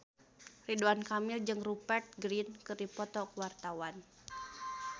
Ridwan Kamil jeung Rupert Grin keur dipoto ku wartawan